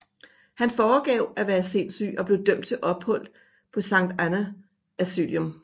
Han foregav at være sindssyg og blev dømt til ophold på Sainte Anne Asylum